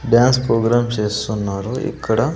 Dance programme చేస్తున్నారు ఇక్కడ.